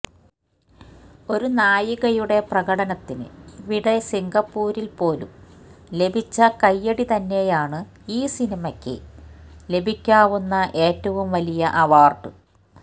ഒരു നായികയുടെ പ്രകടനത്തിന് ഇവിടെ സിംഗപ്പൂരില് പോലും ലഭിച്ച കയ്യടി തന്നെയാണ് ഈ സിനിമയ്ക്ക് ലഭിക്കാവുന്ന ഏറ്റവും വലിയ അവാര്ഡ്